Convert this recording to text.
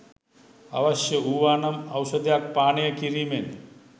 අවශ්‍ය වූවානම් ඖෂධයක් පානය කිරීමෙන්